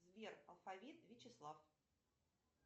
сбер алфавит вячеслав